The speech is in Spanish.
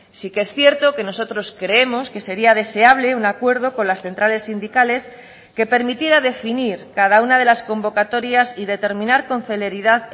sí que es cierto que nosotros creemos que sería deseable un acuerdo con las centrales sindicales que permitiera definir cada una de las convocatorias y determinar con celeridad